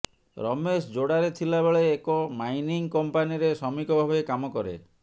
ରମେଶ ଯୋଡାରେ ଥିଲା ବେଳେ ଏକ ମାଇନିଙ୍ଗ୍ କମ୍ପାନୀରେ ଶ୍ରମିକ ଭାବେ କାମ କରେ